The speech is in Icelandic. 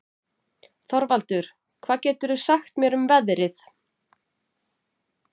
Þorvaldur, hvað geturðu sagt mér um veðrið?